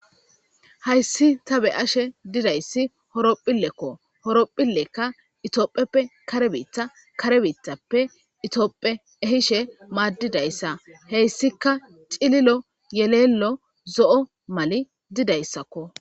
Hayssi ta be ashe didayssi horopphillekko horopphillekka itoopheppe karebiitha karebiithappe itoopphe ehishe maaddidayssa heyssika cililo yeleello zo'o mali didayssakko.